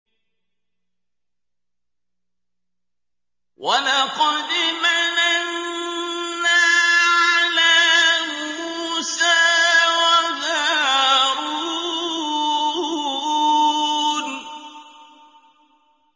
وَلَقَدْ مَنَنَّا عَلَىٰ مُوسَىٰ وَهَارُونَ